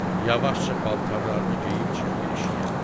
Yavaşca paltarlarını geyib çıxdı eşiyə.